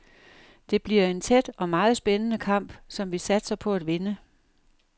Det bliver en tæt og meget spændende kamp, som vi satser på at vinde.